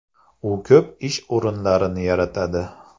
U ko‘p ish o‘rinlarini yaratadi.